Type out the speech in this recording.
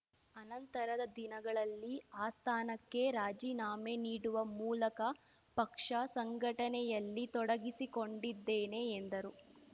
ಅನಂತರದ ದಿನಗಳಲ್ಲಿ ಆ ಸ್ಥಾನಕ್ಕೆ ರಾಜಿನಾಮೆ ನೀಡುವ ಮೂಲಕ ಪಕ್ಷ ಸಂಘಟನೆಯಲ್ಲಿ ತೊಡಿಗಿಸಿಕೊಂಡಿದ್ದೇನೆ ಎಂದರು